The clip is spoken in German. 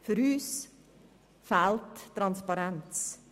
Für uns fehlt die Transparenz.